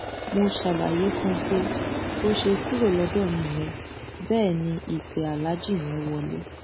mo ṣàlàyé fún un pé bó ṣe kúrò lọdọ mi yẹn bẹẹ ni ìpè aláàjì yẹn wọlẹ